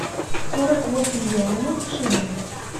сорок восемь юаней в шиллингах